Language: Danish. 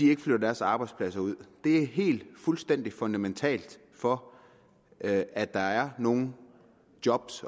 ikke flytter deres arbejdspladser ud det er helt fuldstændig fundamentalt for at at der er nogle job